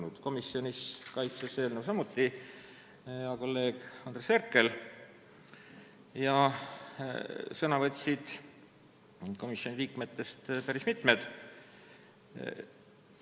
Ka komisjonis kaitses eelnõu hea kolleeg Andres Herkel, sõna võtsid komisjoni liikmetest päris mitmed.